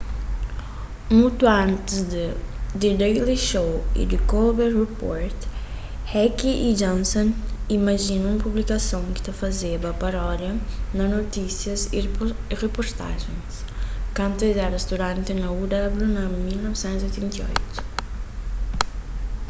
mutu antis di the daily show y the colbert report heck y johnson imajina un publikason ki ta fazeba parodia na notísias y riportajens kantu es éra studanti na uw na 1988